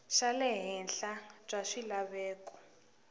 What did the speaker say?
xa le henhla bya swilaveko